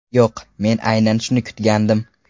Yo‘q, men aynan shuni kutgandim.